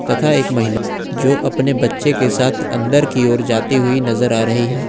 तथा एक महिला जो अपने बच्चे के साथ अंदर की ओर जाती हुई नजर आ रही है।